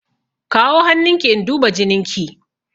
Kawo hannun ki in duba jinin ki!